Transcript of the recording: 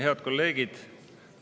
Head kolleegid!